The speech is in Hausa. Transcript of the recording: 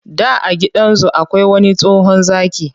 Da a gidan zu akwai wani tsohon zaki,